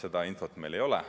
Seda infot meil ei ole.